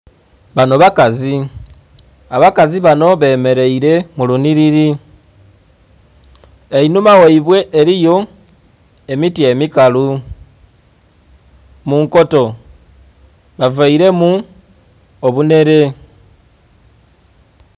Bano bakazi, abakazi bano bemeleire mu lunhiliri einhumane ghaibwe eliyo emiti emikalu munkoto bavaire mu obunhele